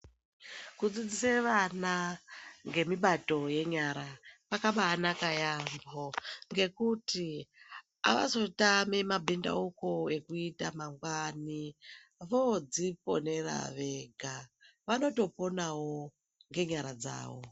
Kudzidzise vana ngemibato yenyara kwakabaanaka yaambo ngekuti havazotami mabhindauko ekuita mangwani voodziponera vega. Vanotoponawo ngenyara dzavo.